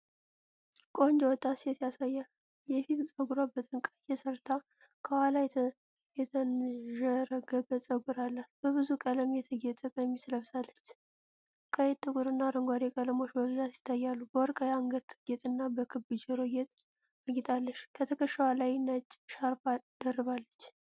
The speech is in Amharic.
ቆንጆ ወጣት ሴት ያሳያል። የፊት ፀጉሯን በጥንቃቄ ሰርታ፤ ከኋላ የተንዠረገገ ፀጉር አላት። በብዙ ቀለም የተጌጠ ቀሚስ ለብሳለች፤ ቀይ፣ ጥቁርና አረንጓዴ ቀለሞች በብዛት ይታያሉ። በወርቅ የአንገት ጌጥና በክብ የጆሮ ጌጥ አጊጣለች፤ ከትከሻዋ ላይ ነጭ ሻርፕ ደርባለች።